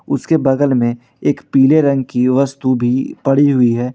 उसके बगल में एक पीले रंग की वस्तु भी पड़ी हुई है।